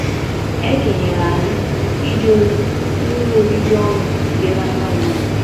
E kenyere anyị ije ozi n’ụlọ obibi ọnụ dị n’Anambra.